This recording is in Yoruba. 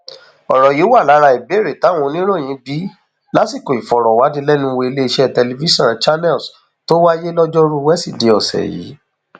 ọrọ yìí wà lára ìbéèrè táwọn oníròyìn bi í lásìkò ìfọrọwánilẹnuwò iléeṣẹ tẹlifíṣàn channels tó wáyé lojoruu wesidee ọsẹ yìí